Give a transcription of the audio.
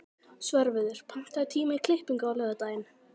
Svörfuður, pantaðu tíma í klippingu á laugardaginn.